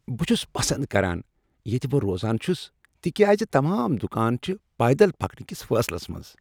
بہٕ چھس پسند کران ییٚتہ بہٕ روزان چھس تکیاز تمام دکان چھ پیدل پکنٕکِس فٲصلس منٛز۔